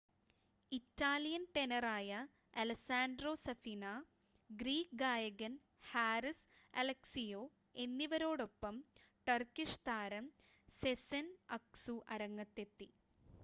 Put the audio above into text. Italian ടെനറായ Alessandro Safina Greek ഗായകൻ Haris Alexiou എന്നിവരോടൊപ്പം ടർക്കിഷ് താരം സെസെൻ അക്‌സു അരങ്ങത്തെത്തി